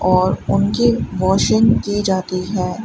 और उनकी वॉशिंग की जाती है।